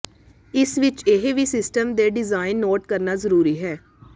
ਇਸ ਵਿਚ ਇਹ ਵੀ ਸਿਸਟਮ ਦੇ ਡਿਜ਼ਾਇਨ ਨੋਟ ਕਰਨਾ ਜ਼ਰੂਰੀ ਹੈ